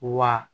Wa